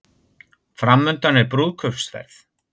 Framundan er brúðkaupsferð